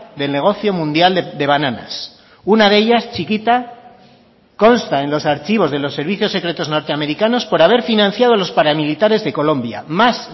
del negocio mundial de bananas una de ellas chiquita consta en los archivos de los servicios secretos norteamericanos por haber financiado los paramilitares de colombia más